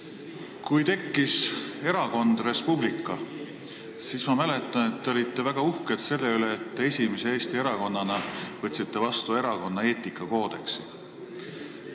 Ma mäletan, et kui tekkis erakond Res Publica, siis te olite väga uhked selle üle, et te esimese Eesti erakonnana võtsite vastu erakonna eetikakoodeksi.